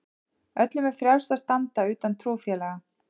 Öllum er frjálst að standa utan trúfélaga.